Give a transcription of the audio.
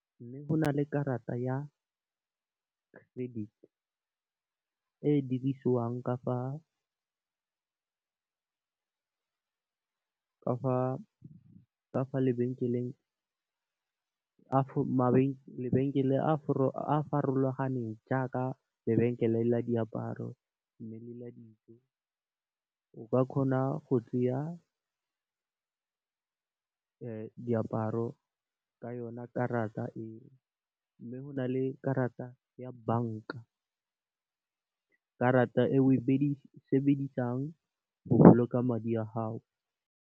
Mme, go na le karata ya credit e dirisiwang ka fa mabenkeleng a farologaneng jaaka lebenkele la diaparo, mme, le la dijo o ka kgona go tseya diaparo ka yona karata eo mme, go na le karata ya banka, karata e o e sebedisang go boloka madi a gago.